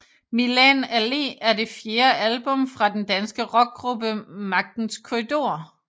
Milan Allé er det fjerde album fra den danske rockgruppe Magtens Korridorer